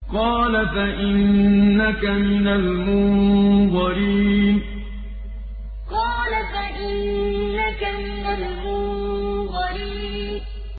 قَالَ فَإِنَّكَ مِنَ الْمُنظَرِينَ قَالَ فَإِنَّكَ مِنَ الْمُنظَرِينَ